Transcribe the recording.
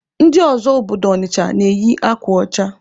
Ndị ọzọ obodo Ọnịcha na-eyi akwa ọcha.